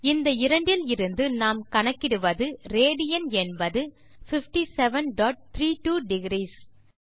இந்த இரண்டில் இருந்து நாம் கணக்கிடுவது ராட் என்பது 5732 டிக்ரீஸ்